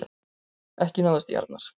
Ekki náðist í Arnar